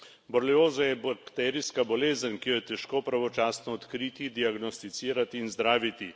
Borelioza je bakterijska bolezen, ki jo je težko pravočasno odkriti, diagnosticirati in zdraviti.